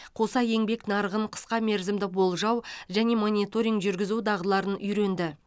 қоса еңбек нарығын қысқа мерзімді болжау және мониторинг жүргізу дағдыларын үйренді